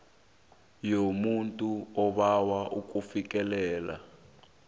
yomuntu obawa ukufikelela